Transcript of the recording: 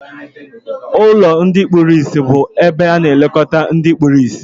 Ụlọ ndị kpụrụ ịsị bu ebe ana elekota ndị kpụrụ ịsị.